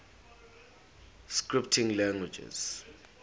scripting languages